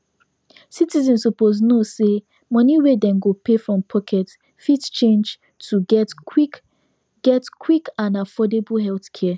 citizens suppose know say money wey dem go pay from pocket fit change to get quick get quick and affordable healthcare